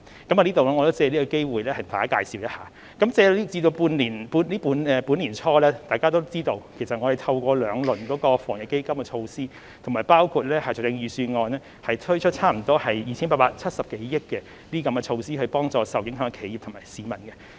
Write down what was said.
我想藉此機會向大家介紹一下，自本年年初，可能大家也知道，我們透過兩輪防疫抗疫基金措施，以及在財政預算案中推出差不多 2,870 多億元措施，幫助受影響企業和市民。